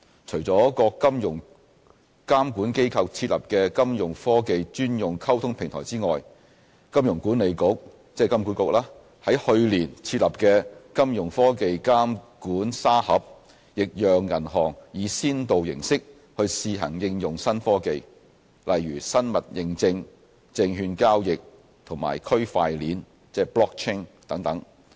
除了各金融監管機構設立的金融科技專用溝通平台外，金融管理局在去年設立的"金融科技監管沙盒"亦讓銀行以先導形式去試行應用新科技，例如生物認證、證券交易和區塊鏈等。